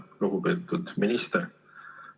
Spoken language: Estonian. Aga praegu, kriisiolukorras ma piirduksin küll selle õppeaastaga.